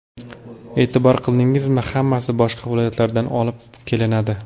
E’tibor qildingizmi, hammasi boshqa viloyatlardan olib kelinadi.